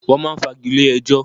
Wọ́n máa ń fagilé ẹjọ́.